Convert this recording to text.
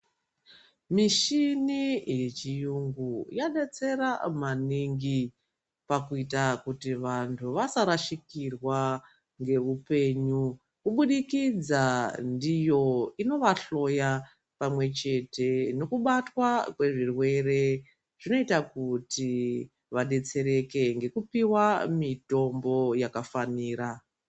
Mishini yechiyungu yadetsera maningi pakuita kuti vanthu vasarashikirwa ngeupenyu kubudikidza ndiyo inovahloya pamwechete nokubatwa kwezvirwere zvinoita kuti vadetsereke ngekupiwa mitombo yakafanira.